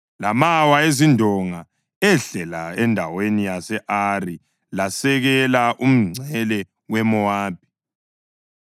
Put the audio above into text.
lamawa ezindonga ehlela endaweni yase-Ari lasekela umngcele weMowabi.”